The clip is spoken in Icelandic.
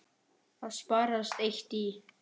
Það sparast eitt í.